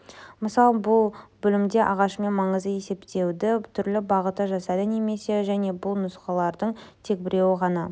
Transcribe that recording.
мысал бұл бөлімде ағашымен маңызды есептеуді түрлі бағытта жасайды немесе және бұл нұсқалардың тек біреуі ғана